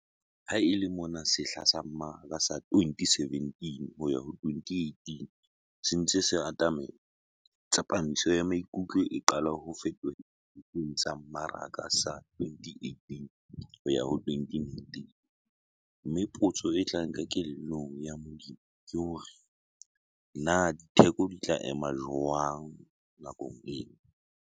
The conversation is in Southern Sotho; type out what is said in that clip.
Ha e le mona sehla sa mmaraka sa 2017-2018 se ntse se atamela, tsepamiso ya maikutlo e qala ho fetohela sehleng sa mmaraka sa 2018-2019, mme potso e tlang kelellong ya molemi ke hore 'na ditheko di tla ema jwang nakong ena?'